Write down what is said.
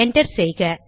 enter செய்க